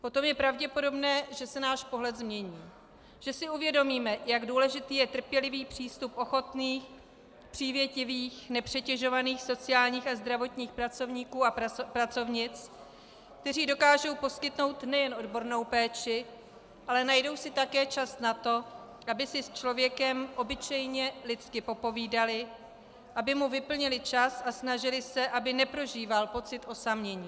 Potom je pravděpodobné, že se náš pohled změní, že si uvědomíme, jak důležitý je trpělivý přístup ochotných, přívětivých, nepřetěžovaných sociálních a zdravotních pracovníků a pracovnic, kteří dokážou poskytnout nejen odbornou péči, ale najdou si také čas na to, aby si s člověkem obyčejně lidsky popovídali, aby mu vyplnili čas a snažili se, aby neprožíval pocit osamění.